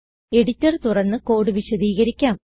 editor തുറന്ന് code വിശദീകരിക്കാം